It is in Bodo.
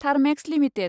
थार्मेक्स लिमिटेड